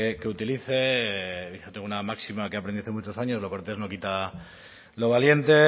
que utilice tengo una máxima que aprendí hace muchos años lo cortés no quita lo valiente